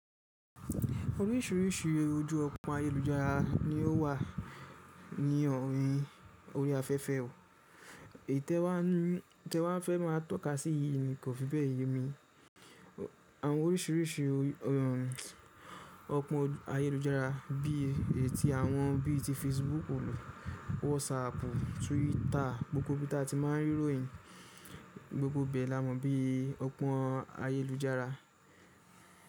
Oríṣiríṣi eré ojú ọ̀pọ̀n ayélujára ni ó wà ní ọrin orí afẹ́fẹ́ ò. Tẹ̀ wá n nu yin te wa fẹ́ má tọ́ka sí yiì ni kò fi bẹ́ẹ̀ yemi. Àwọn oríṣiríṣi ọ̀pọ́n ayélujára bí i ti àwọn bí i tí Facebook, WhatsApp, Twitter, gbogbo bítà tí má a n rí ròyìn, gbogbo bẹ́ẹ̀ la mọ̀ bí i ọ̀pọ́n ayélujára.